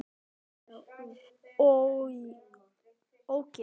OG ÓGEÐ!